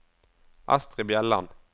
Astrid Bjelland